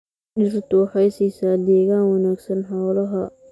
Dhirtu waxay siisaa deegaan wanaagsan xoolaha.